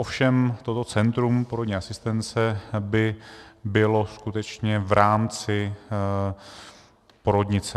Ovšem toto centrum porodní asistence by bylo skutečně v rámci porodnice.